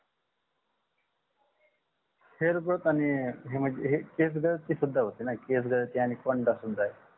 hair growth आणि हे म्हणजे केस गळती सुद्धा होतेणा केस गळती कोंडा सुद्धा आहे